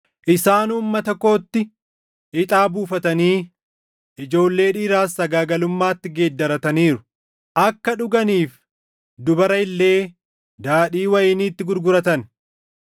Isaan uummata kootti ixaa buufatanii ijoollee dhiiraas sagaagalummaatti geeddarataniiru; akka dhuganiif dubara illee daadhii wayiniitti gurguratan.